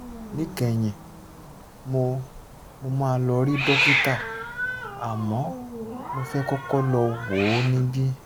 níkẹyìn mo mo máa lọ rí dókítà àmọ́ mo fẹ́ kọ́kọ́ lọ wò ó níbí